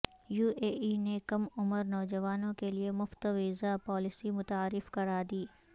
you A E نے کم عمرنوجوانوں کیلئے مفت ویزا پالیسی متعارف کرادی